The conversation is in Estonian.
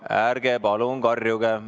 Ärge palun karjuge!